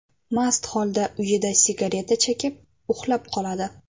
mast holda uyida sigareta chekib, uxlab qoladi.